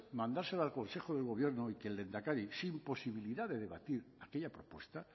mandárselo al consejo de gobierno y que el lehendakari sin posibilidad de debatir aquella propuesta